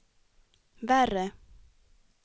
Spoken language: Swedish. värre